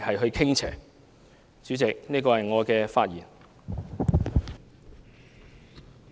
代理主席，這是我的發言。